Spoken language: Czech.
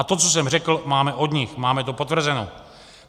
A to, co jsem řekl, máme od nich, máme to potvrzeno.